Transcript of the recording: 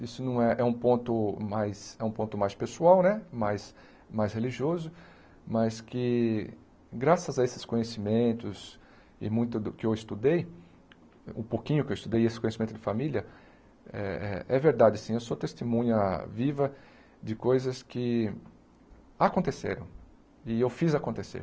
Isso não é é um ponto mais é um ponto mais pessoal né, mais mais religioso, mas que graças a esses conhecimentos e muito do que eu estudei, o pouquinho que eu estudei esse conhecimento de família, é é verdade sim, eu sou testemunha viva de coisas que aconteceram e eu fiz acontecer.